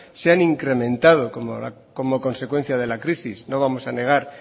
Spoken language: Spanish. se han incrementado como consecuencia de la crisis no vamos a negar